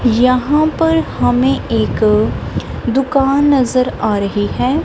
यहां पर हमें एक दुकान नजर आ रही है।